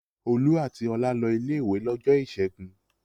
Olú àti Ọlá lọ ilé-ìwé lọ́jọ́ ìṣẹ́gun.